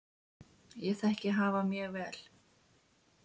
Ég þekki hafa mjög vel.